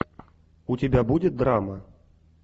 у тебя будет драма